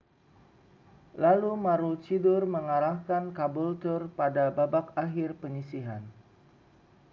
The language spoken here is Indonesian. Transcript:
lalu maroochydore mengalahkan caboolture pada babak akhir penyisihan